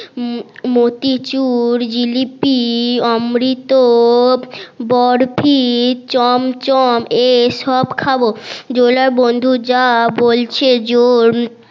মতিচুর জিলিপি অমৃত বরফি চমচম এসব খাবো জোলার বন্ধু যা বলছে জোর